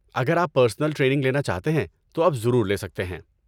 اگر آپ personal training لینا چاہتے ہیں، تو آپ ضرور لے سکتے ہیں۔